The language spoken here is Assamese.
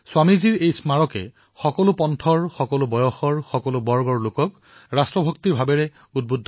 স্বামীজীৰ স্মাৰকে প্ৰতিটো পন্থ প্ৰতিটো বৰ্গ বয়সৰ লোকক ৰাষ্ট্ৰভক্তিৰ বাবে অনুপ্ৰেৰিত কৰিছে